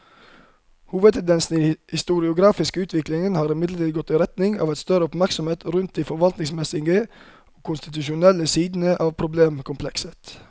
Hovedtendensen i den historiografiske utviklingen har imidlertid gått i retning av større oppmerksomhet rundt de forvaltningsmessige og konstitusjonelle sidene av problemkomplekset.